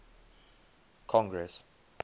congress